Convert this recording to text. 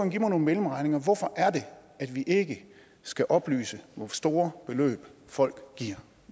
give mig nogle mellemregninger hvorfor er det at vi ikke skal oplyse hvor store beløb folk giver